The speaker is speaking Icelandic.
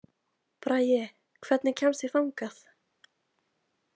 Bragi, hvernig kemst ég þangað?